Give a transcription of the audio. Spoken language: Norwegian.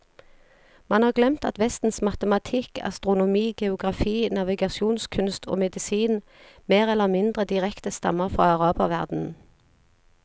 Man har glemt at vestens matematikk, astronomi, geografi, navigasjonskunst og medisin mer eller mindre direkte stammer fra araberverdenen.